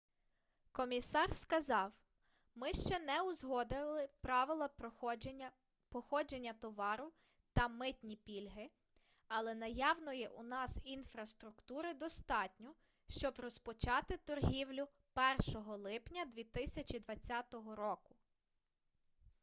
комісар сказав ми ще не узгодили правила походження товару та митні пільги але наявної у нас інфраструктури достатньо щоб розпочати торгівлю 1 липня 2020 року